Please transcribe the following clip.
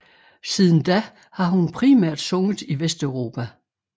Siden da har hun primært sunget i Vesteuropa